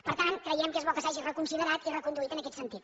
per tant creiem que és bo que s’hagi reconsiderat i reconduït en aquest sentit